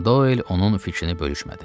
Doll onun fikrini bölüşmədi.